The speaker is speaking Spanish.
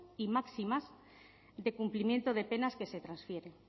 y máximas de cumplimiento de penas que se transfieren